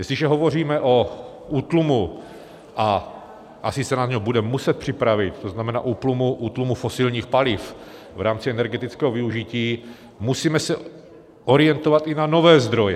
Jestliže hovoříme o útlumu, a asi se na něj budeme muset připravit, to znamená útlumu fosilních paliv v rámci energetického využití, musíme se orientovat i na nové zdroje.